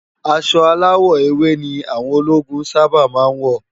Aṣọ áláwò éwé ni áwòn ólógún sàbá má n wó